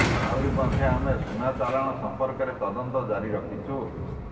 ଆହୁରି ମଧ୍ୟ ଆମେ ସୁନା ଚାଲାଣ ସମ୍ପର୍କରେ ତଦନ୍ତ ଜାରି ରଖିଛୁ